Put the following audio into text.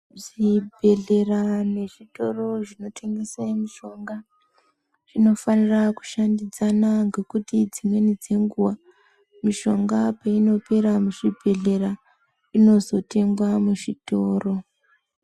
Zvibhedhlera nezvitoro zvinotengesa mishonga zvinofanira kushandidzana ngekuti dzimweni dzenguwa mishonga peinopera muzvibhedhlera inozotengwa muzvitoro.